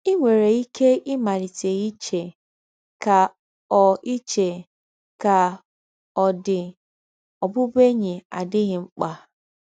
Ì nwèrè íké ímálítè íché, ‘Kà ọ̀ íché, ‘Kà ọ̀ dị̄, ọ̀bụ̀bụ̀én̄yi àdịghị̀ ḿkpà